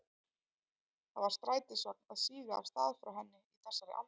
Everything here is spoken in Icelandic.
Það var strætisvagn að síga af stað frá henni í þessari andrá.